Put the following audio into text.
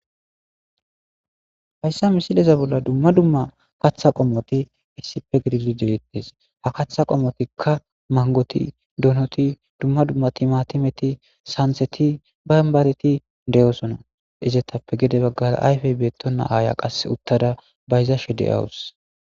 Hayssa misileta bolla dumma dumma kaththa qommoti iissipe gidizi des.ha kaththa qomotika manggoti,donoti,dumma dumma timatimeti sanitati ,bamibareti de'osona etape hinni baggara qassi ayfe beettena aaya uttdasa bayzashe de'awusu